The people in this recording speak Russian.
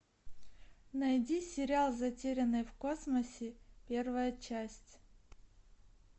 найди сериал затерянные в космосе первая часть